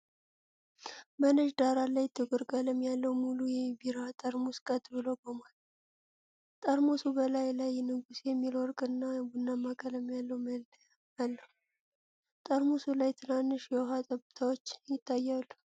በነጭ ዳራ ላይ ጥቁር ቀለም ያለው ሙሉ የቢራ ጠርሙስ ቀጥ ብሎ ቆሟል። ጠርሙሱ በላዩ ላይ "ንጉሥ" የሚል የወርቅና ቡናማ ቀለም ያለው መለያ አለው፤ ጠርሙሱ ላይ ትናንሽ የውሃ ጠብታዎች ይታያሉ።